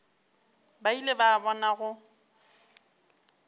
ba ile ba bona go